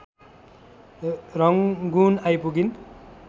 Rangoon आइपुगिन्।